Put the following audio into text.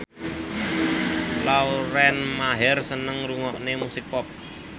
Lauren Maher seneng ngrungokne musik pop